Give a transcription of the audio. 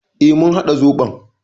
E, mun haɗa zoɓon.